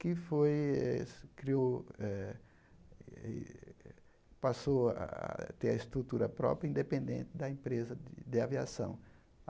que foi criou eh passou a ter a estrutura própria, independente da empresa de aviação.